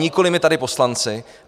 Nikoli my tady, poslanci.